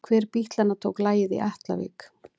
Hver bítlanna tók lagið í Atlavík?